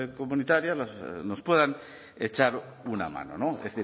comunitarias nos puedan echar una mano no es